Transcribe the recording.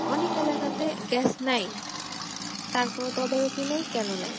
অনেক এলাকাতে Gas নাই তার কোন তদারকি নাই কেনো নাই?